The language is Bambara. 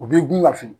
U bɛ dun ka fili